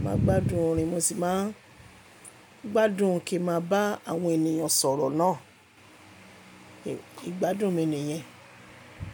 Mo máa ń gbádùn orin mo sì máa ń gbádùn kí n máa bá àwọn ènìyàn sọ̀rọ̀ náà. Ìgbádùn mi nìyẹn.